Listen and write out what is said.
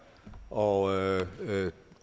og